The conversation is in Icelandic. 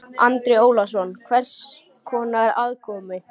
Andri Ólafsson: Hvers konar aðkomu?